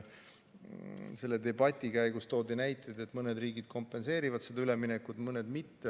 Selle debati käigus toodi näiteid, et mõned riigid kompenseerivad seda üleminekut, mõned mitte.